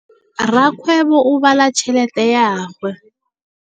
Rakgwêbô o bala tšheletê ya gagwe.